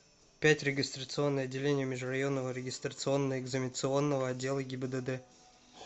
пять регистрационное отделение межрайонного регистрационно экзаменационного отдела гибдд